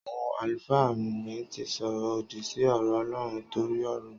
Àwon àlúfà mi tí sọrọ òdí si ọrọ ọlọrún tọri ọrọ